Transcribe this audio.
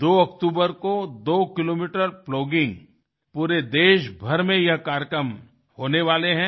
2 October को 2 kilometre plogging पूरे देशभर में ये कार्यक्रम होने वाले हैं